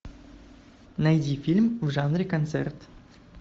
найди фильм в жанре концерт